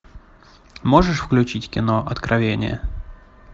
можешь включить кино откровение